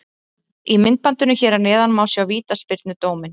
Í myndbandinu hér að neðan má sjá vítaspyrnudóminn.